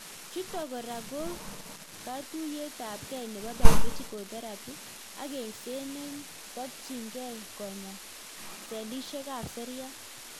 Chutok kora ko katuiyetabge nebo biological therapy ak eng'set netokchingei konyaa selishekab seriat